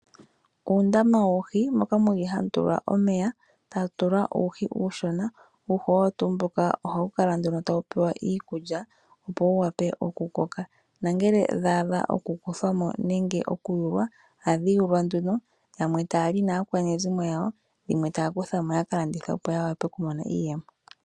Uundama woohi moka muli hamu tulwa omeya etamu tulwa uuhi uushona. Uuhi owo tuu mboka ohawu kala nduno tawu pewa iikulya opo wu vule okukoka. Nongele dha adha okukuthwa mo nenge okuyulwa ohadhi yulwa nduno yamwe taya li naakwanezimo yawo dhimwe taya kuthamo ya kalandithe opo ya vule okumona iiyemo.